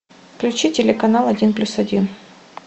включи телеканал один плюс один